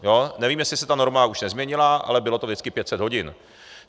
Nevím, jestli se ta norma už nezměnila, ale bylo to vždycky 500 hodin.